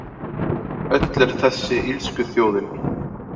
Öll er þessi illskuþjóðin